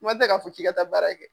Kuma tɛ ka fɔ k'i ka taa baara kɛ.